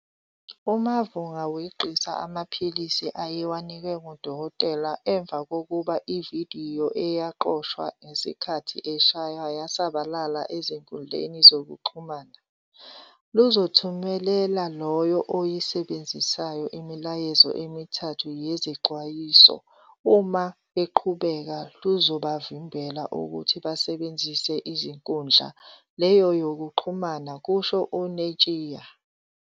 "UMavhunga weqisa amaphilisi ayewanikwe ngudokotela emva kokuthi ividiyo eyaqoshwa ngesikhathi eshaywa yasabalala ezinkundleni zokuxhumana. Luzothumelela loyo oyisebenzisayo imiyalezo emithathu yezixwayiso, uma beqhubeka, luzobavimbela ukuthi basebenzise inkundla leyo yokuxhumana," kusho uNetshiya.